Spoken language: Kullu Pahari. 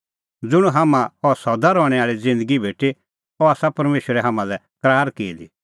ज़ुंण हाम्हां अह सदा रहणैं आल़ी ज़िन्दगी भेटी अह आसा परमेशरै हाम्हां लै करार की दी